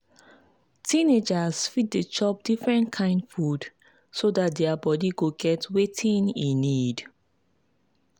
teenagers fit dey chop different kain food so dat their body go get wetin e need.